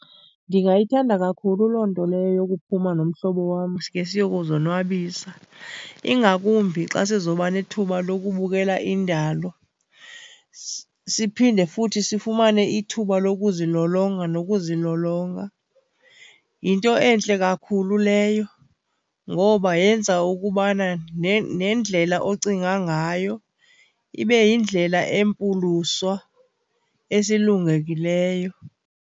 Ndingayithanda kakhulu loo nto leyo yokuphuma nomhlobo wam sike siyokuzonwabisa, ingakumbi xa sizoba nethuba lokubukela indalo, siphinde futhi sifumane ithuba lokuzilolonga nokuzilolonga. Yinto entle kakhulu leyo ngoba yenza ukubana nendlela ocinga ngayo ibe yindlela empuluswa, esulungekileyo.